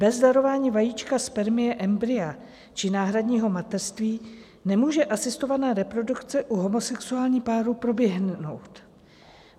Bez darování vajíčka, spermie, embrya či náhradního mateřství nemůže asistovaná reprodukce u homosexuálních párů proběhnout.